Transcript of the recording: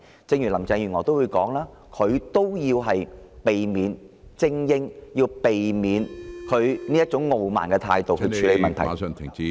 就連林鄭月娥也說要擺脫精英主義，要避免以她那種傲慢的態度處理問題。